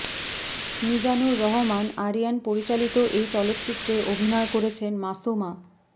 মিজানুর রহমান আরিয়ান পরিচালিত এই চলচ্চিত্রে অভিনয় করেছেন মাসুমা